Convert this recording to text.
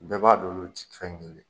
Bɛɛ b'a don no tɛ fɛn kelen.